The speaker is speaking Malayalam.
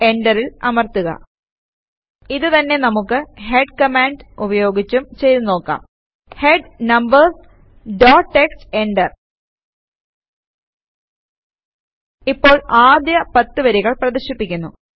എന്ററിൽ അമർത്തുക ഇത് തന്നെ നമുക്ക് ഹെഡ് കമാൻഡ് ഉപയോഗിച്ചും ചെയ്തു നോക്കാം head numbers dot TXT enter ഇപ്പോൾ ആദ്യ 10 വരികൾ പ്രദർശിപ്പിക്കുന്നു